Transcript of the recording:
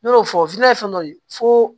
Ne y'o fɔ ye fɛn dɔ de ye fo